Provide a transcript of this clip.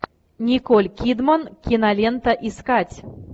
николь кидман кинолента искать